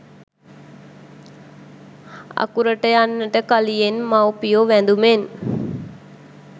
අකුරට යන්නට කලියෙන් මවුපියෝ වැඳුමෙන්